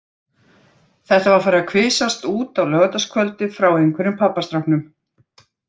Þetta var farið að kvisast út á laugardagskvöldið frá einhverjum pabbastráknum.